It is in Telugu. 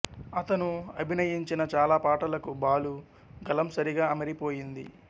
ఆతను అభినయించిన చాలా పాటలకు బాలు గళం సరిగా అమరి పోయింది